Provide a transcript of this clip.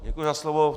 Děkuji za slovo.